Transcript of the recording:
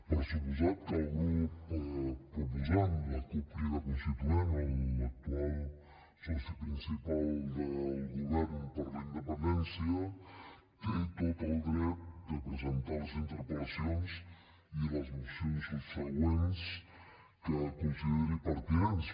per descomptat que el grup proposant la cup crida constituent l’actual soci principal del govern per la independència té tot el dret de presentar les interpel·lacions i les mocions subsegüents que consideri pertinents